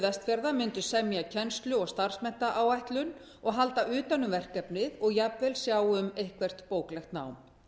vestfjarða mundi semja kennslu og starfsmenntaáætlun og halda utan um verkefnið og jafnvel sjá um eitthvert bóklegt nám